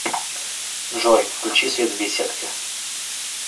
джой включи свет в беседке